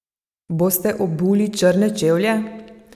Boste obuli črne čevlje?